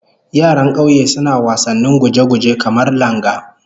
Yaran kauye suna wasannin guje-guje, kamar langa